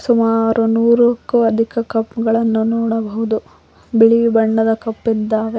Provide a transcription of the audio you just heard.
ಸುಮಾರು ನೂರಕ್ಕೂ ಅಧಿಕ ಕಪ್ ಗಳನ್ನು ನೋಡಬಹುದು ಬಿಳಿ ಬಣ್ಣದ ಕಪ್ಪಿದ್ದಾವೆ.